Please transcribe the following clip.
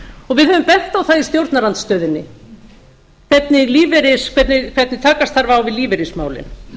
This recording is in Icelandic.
og við höfum bent á það í stjórnarandstöðunni hvernig takast þarf á við lífeyrismálin